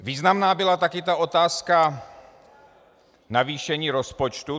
Významná byla také ta otázka navýšení rozpočtu.